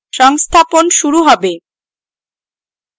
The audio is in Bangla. সংস্থাপন শুরু হবে